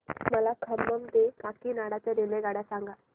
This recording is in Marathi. मला खम्मम ते काकीनाडा च्या रेल्वेगाड्या सांगा